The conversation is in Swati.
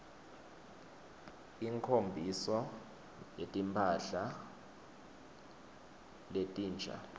inkho mbiso yetimphla letinsha